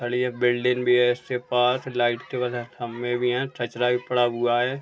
खड़ी है। बिल्डिंग भी है इसके पास। लाइट खंभे भी हैं। कचरा भी पड़ा हुआ है।